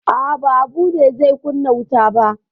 A'a, ba Habu ba ne zai kunna wutan ba.